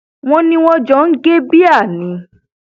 wọn ní wọn jọ ń gé bíà ni